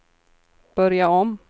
börja om